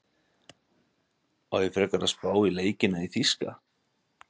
Á ég ekki frekar að spá í leikina í þýska?